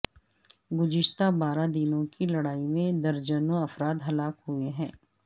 گزشتہ بارہ دنوں کی لڑائی میں درجنوں افراد ہلاک ہوئے ہیں